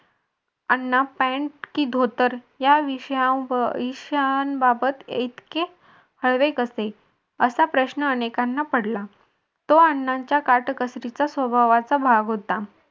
अण्णा pant की धोतर या विषया विषयांबाबत इतके हळवे कसे असा प्रश्न अनेकांना पडला प्राण्यांचा काटकसरीचा स्वभावाचा भाग होता.